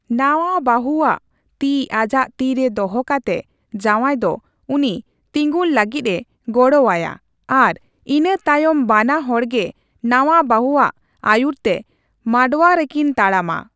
ᱱᱟᱣᱟ ᱵᱟᱹᱦᱩᱣᱟᱜ ᱛᱤ ᱟᱡᱟᱜ ᱛᱤᱨᱮ ᱫᱚᱦᱚ ᱠᱟᱛᱮ ᱡᱟᱣᱟᱭ ᱫᱚ ᱩᱱᱤ ᱛᱤᱸᱜᱩᱱ ᱞᱟᱹᱜᱤᱫᱼᱮ ᱜᱚᱲᱚ ᱟᱭᱟ ᱟᱨ ᱤᱱᱟᱹ ᱛᱟᱭᱚᱢ ᱵᱟᱱᱟ ᱦᱚᱲᱜᱮ ᱱᱟᱣᱟ ᱵᱟᱹᱦᱩᱟᱜ ᱟᱹᱭᱩᱨ ᱛᱮ ᱢᱟᱰᱣᱟ ᱨᱮᱠᱤᱱ ᱛᱟᱲᱟᱢᱟ ᱾